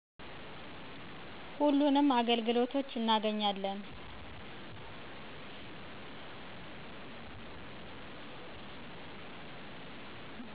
ሁሉንም አገልግሎቶች እናገኛለን።